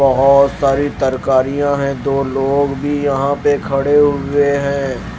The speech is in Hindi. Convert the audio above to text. बहुत सारी तरकारियां हैं दो लोग भी यहां पे खड़े हुए हैं।